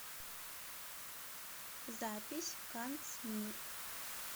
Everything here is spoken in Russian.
запись канцмир